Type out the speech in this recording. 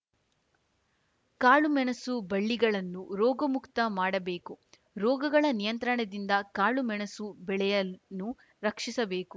ಕಾಳುಮೆಣಸು ಬಳ್ಳಿಗಳನ್ನು ರೋಗಮುಕ್ತ ಮಾಡಬೇಕು ರೋಗಗಳ ನಿಯಂತ್ರಣದಿಂದ ಕಾಳುಮೆಣಸು ಬೆಳೆಯನ್ನು ರಕ್ಷಿಸಬೇಕು